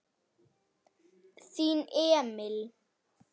Þinn Emil.